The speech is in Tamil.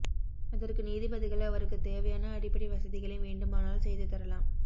அதற்கு நீதிபதிகள் அவருக்கு தேவையான அடிப்படை வசதிகளை வேண்டுமானால் செய்து தரலாம்